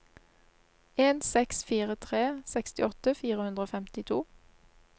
en seks fire tre sekstiåtte fire hundre og femtito